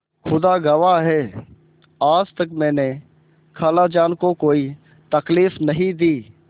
खुदा गवाह है आज तक मैंने खालाजान को कोई तकलीफ नहीं दी